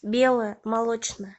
белое молочное